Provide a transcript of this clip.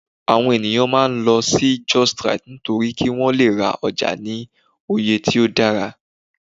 awon eniyan maa n lol si justrite nitori ki won Le ra oja ni oye ti o dara